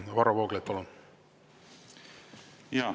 Varro Vooglaid, palun!